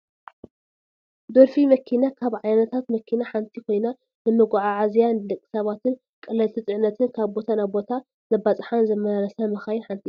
ዶልፊን መኪና ካብ ዓይነታት መኪና ሓንቲ ኮይና ንመጓዓዓዝያ ንደቂ ሰባትን ቀለልቲ ፅዕነትን ካብ ቦታ ናብ ቦታ ካብ ዘባፃፅሓን ዘማላልሳን መካይን ሓንቲ እያ።